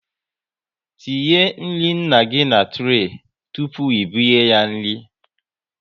Tinye nri nna gị na turay tụpụ ị binye ya nri